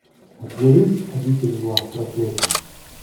у тебя есть обитель зла проклятие